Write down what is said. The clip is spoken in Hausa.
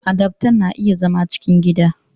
Adaftan na iya zama cikin gida